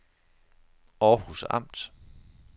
Århus Amt